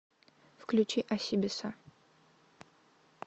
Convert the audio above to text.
включи осибиса